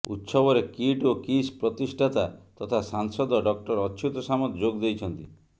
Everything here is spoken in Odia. ଉତ୍ସବରେ କିଟ୍ ଓ କିସ୍ ପ୍ରତିଷ୍ଠାତା ତଥା ସାଂସଦ ଡକ୍ଟର ଅଚ୍ୟୁତ ସାମନ୍ତ ଯୋଗଦେଇଛନ୍ତି